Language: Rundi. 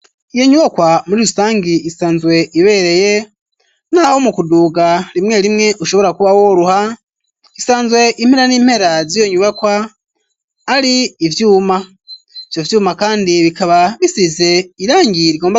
Iyo nyubakwa muri rusangi isanzwe ibereye n'aho mu kuduga rimwe rimwe ushobora kuba woruha isanzwe impera n'impera ziyo nyubakwa ari ivyuma, ivyo vyuma kandi bikaba bisize irangi rigomba gutukura.